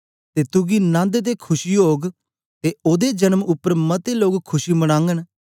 ते तुगी नन्द ते खुशी ओग ते ओदे जन्म उपर मते लोक खुशी मनागन